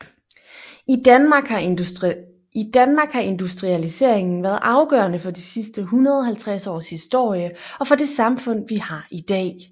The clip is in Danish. I Danmark har industrialiseringen været afgørende for de sidste 150 års historie og for det samfund vi har i dag